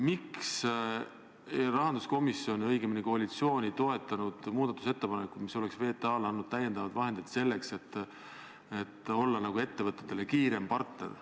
Miks rahanduskomisjon, õigemini koalitsioon ei toetanud muudatusettepanekut, mis oleks VTA-le andnud lisavahendeid, et olla ettevõtetele kiirem partner?